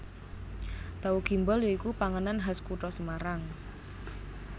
Tahu Gimbal ya iku panganan khas kutha Semarang